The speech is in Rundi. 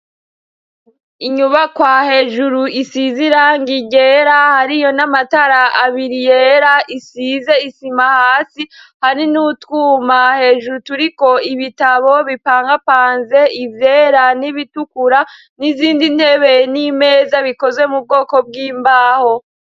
Inyubakwa hejuru isiz iranga igera hari yo n'amatara abiri yera isize isima hasi hari n'utwuma hejuru turiko ibitabo bipangapanze ivyera n'ibitukura n'izindi ntebe n'imeza bikozwe mu bwoko bw'imbaho.